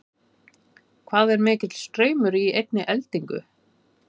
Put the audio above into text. hvað er mikill straumur í einni eldingu